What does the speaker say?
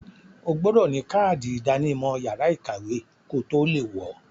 O gbọdọ̀ ní kádì ìdánimọ̀ yàrá ìkàwé kotó le wọ̀ọ.